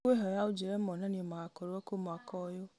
ngũkwĩhoya ũnjĩre monanio magakorwo kũ mwaka ũyũ